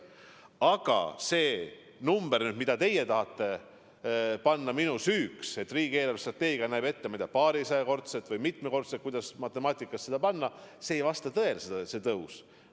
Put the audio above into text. Aga see number, mille te tahate panna minu süüks – et riigi eelarvestrateegia näeb ette, ma ei tea, paarisajaprotsendist või mitmekordset, kuidas matemaatiliselt õigem on öelda, tõusu –, see soov ei vasta tõele.